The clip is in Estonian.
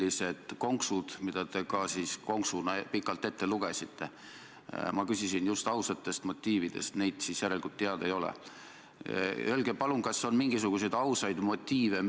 Andke andeks, auväärt Riigikogu ja Riigikogu liige proua Kaja Kallas, aga see, mida teie ütlesite riigireetmise kontekstis , on tõsine rünnak Eesti mainele nii välispoliitiliselt kui ka sisepoliitiliselt.